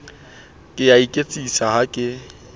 ke a iketsisa ha ke